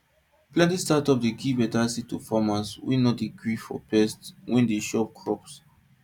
plenty startup dey give better seeds to farmers wey no dey gree for pest wey dey chop crops